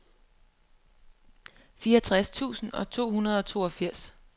fireogtres tusind to hundrede og toogfirs